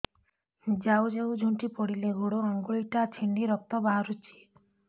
ଯାଉ ଯାଉ ଝୁଣ୍ଟି ପଡ଼ିଲି ଗୋଡ଼ ଆଂଗୁଳିଟା ଛିଣ୍ଡି ରକ୍ତ ବାହାରୁଚି